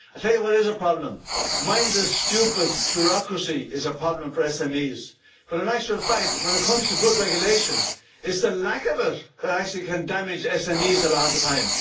I'll tell you what is a problem mindless, stupid bureaucracy is a problem for SMEs. But in actual fact, when it comes to good regulation, it's the lack of it that actually can damage SMEs a lot of the time.